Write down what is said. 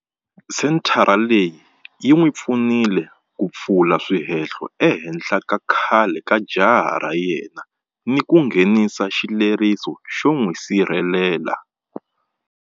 Senthara leyi yi n'wi pfunile ku pfula swihehlo ehenhla ka khale ka jaha ra yena ni ku nghenisa xileriso xo n'wi sirhelela.